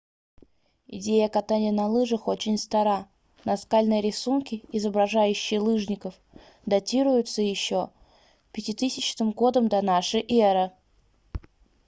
идея катания на лыжах очень стара наскальные рисунки изображающие лыжников датируются еще 5000 г до н э